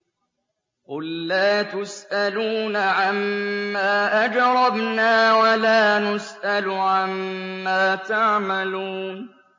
قُل لَّا تُسْأَلُونَ عَمَّا أَجْرَمْنَا وَلَا نُسْأَلُ عَمَّا تَعْمَلُونَ